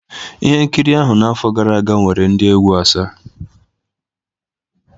Ihe nkiri ahụ n'afọ gara aga nwere ndị egwu asaa